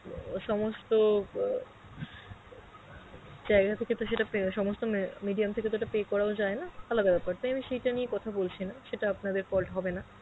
আ সমস্ত আ, জায়গা থেকে তো সেটা পে~ সমস্ত medium থেকে তো সেটা pay করাও যায়না আলাদা বেপার তাই আমি সেইটা নিয়ে কথা বলছি না সেটা আপনাদের fault হবে না.